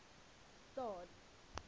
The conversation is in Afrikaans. staad